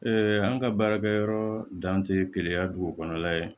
an ka baarakɛyɔrɔ dan tɛ keleya dugu kɔnɔna ye